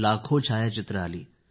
लाखों छायाचित्रे आली